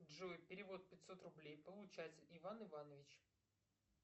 джой перевод пятьсот рублей получатель иван иванович